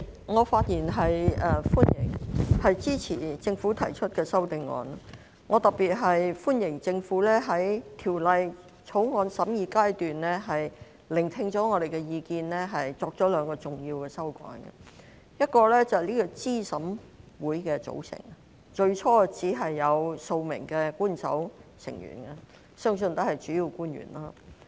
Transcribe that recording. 我特別歡迎政府在《2021年完善選舉制度條例草案》審議階段聆聽我們的意見後，作出兩項重要的修改，一是候選人資格審查委員會的組成，最初只有數名官守成員，相信也是主要官員。